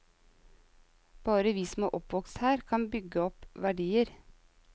Bare vi som er oppvokst her kan bygge opp verdier.